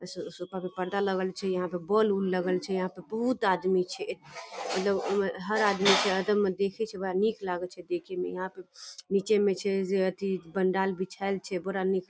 सो sofa पे पर्दा लगल छै यहाँ पे बोल उल लागल छै। यहाँ पे बहुत आदमी छै। मतलब उ में हर आदमी के यहाँ पे नीचे में जे छै अथी पंडाल बिछायल छै बड़ा निक --